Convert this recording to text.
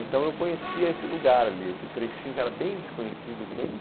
Então eu conhecia esse lugar ali, esse trechinho que era bem desconhecido, bem...